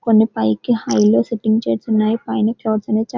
కొన్ని పైకి high low sitting chairs ఉన్నాయి పైన క్లౌడ్స్ అనేవి --